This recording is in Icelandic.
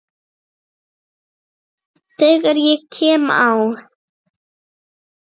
Þegar ég kem á